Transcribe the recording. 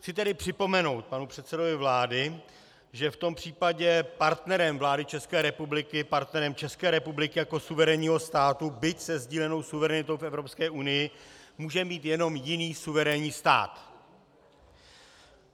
Chci tedy připomenout panu předsedovi vlády, že v tom případě partnerem vlády České republiky, partnerem České republiky jako suverénního státu, byť se sdílenou suverenitou v Evropské unii, může být jenom jiný suverénní stát.